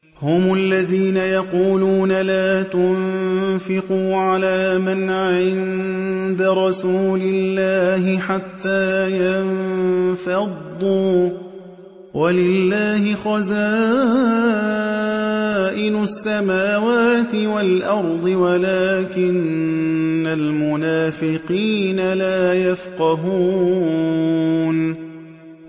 هُمُ الَّذِينَ يَقُولُونَ لَا تُنفِقُوا عَلَىٰ مَنْ عِندَ رَسُولِ اللَّهِ حَتَّىٰ يَنفَضُّوا ۗ وَلِلَّهِ خَزَائِنُ السَّمَاوَاتِ وَالْأَرْضِ وَلَٰكِنَّ الْمُنَافِقِينَ لَا يَفْقَهُونَ